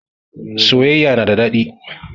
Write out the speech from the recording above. Soyayya na da daɗi